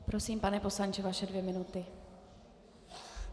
Prosím, pane poslanče, vaše dvě minuty.